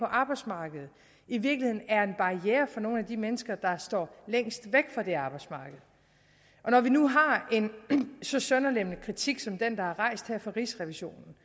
arbejdsmarkedet i virkeligheden er en barriere for nogle af de mennesker der står længst væk fra det arbejdsmarked når vi nu har en så sønderlemmende kritik som den der er rejst her fra rigsrevisionen